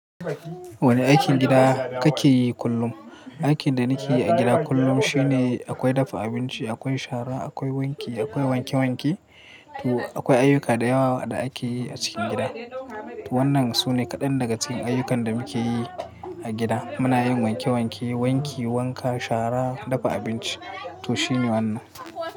Wane aikin gida kake yi kullum? Aikin da nike yi a gida kullum shine akwai dafa abinci, akwai shara, akwai wanki, akwai wanke wanke. To akwai ayyuka da yawa da akeyi a cikin gida. To wannan sune kaɗan daga cikin ayyukan da muke yi a gida. Muna yin wanke wanke, wanki, wanka, shara, dafa abinci to shine wannan.